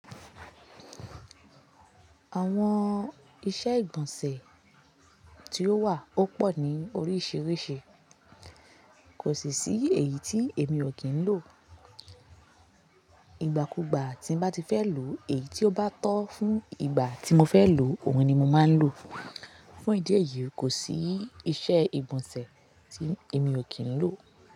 Àwọn iṣẹ́ ìgbọ̀nsẹ̀ tí ó wà ó pọ̀ ní oríṣìíríṣìí, kò sì sí èyí tí èmi ò kín ń lò. Ìgbà kugbà tí n bá ti fẹ́ lò, èyí tí ó bá tọ́ fún ìgbà tí mo fẹ́ lò, òun ni mo máa ń lò. Fún ìdí èyí, kò sí iṣẹ́ ìgbọ̀nsẹ̀ tí èmi ò kín ń lò.